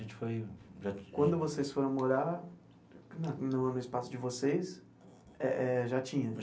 A gente foi já. Quando vocês foram morar na no no espaço de vocês, eh eh já tinha?